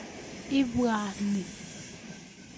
Ibwa nii